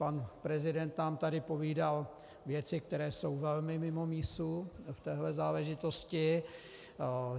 Pan prezident nám tady povídal věci, které jsou velmi mimo mísu v téhle záležitosti.